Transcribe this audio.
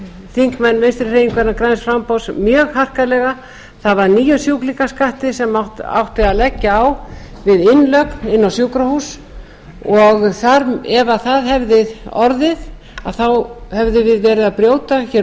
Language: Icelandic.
þingmenn vinstri hreyfingarinnar græns framboðs mjög harkalega það var nýjum sjúklingaskattur sem átti að leggja á við innlögn inn á sjúkrahús og ef það hefði orðið að þá hefðum við verið að brjóta hér